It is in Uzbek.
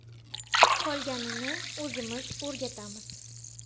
Qolganini o‘zimiz o‘rgatamiz.